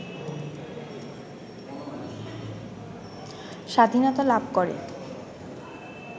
স্বাধীনতা লাভ করে